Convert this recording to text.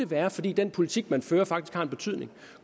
være fordi den politik man fører faktisk har en betydning